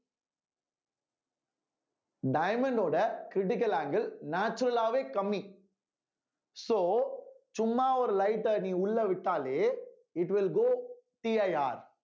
diamond ஓட critical angle natural ஆவே கம்மி so சும்மா ஒரு light அ நீ உள்ள விட்டாலே it will goCIR